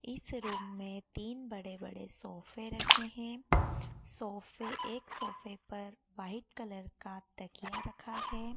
इस रूम में तीन बड़े बड़े सोफे रखे हैं सोफे एक सोफे पर वाइट कलर का तकिया रखा है।